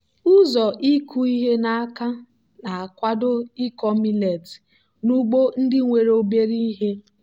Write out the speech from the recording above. ụzọ ịkụ ihe n'aka na-akwado ikọ millet n'ugbo ndị nwere obere ihe.